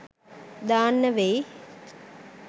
දාන්න වෙයි